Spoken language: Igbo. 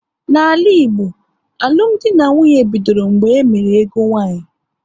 N'ala Igbo, alụmdi na nwunye bidoro mgbe e mere ego nwaanyị